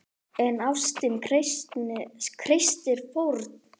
En ástin krefst fórna!